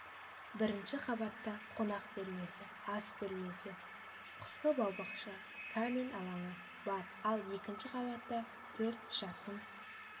бірінші қабатта қонақ бөлмесі ас бөлмесі қысқы баубақша камин алаңы бар ал екінші қабатта төрт жатын